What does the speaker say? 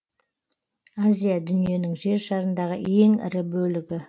азия дүниенің жер шарындағы ең ірі бөлігі